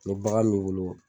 Ni bagan m'i wolo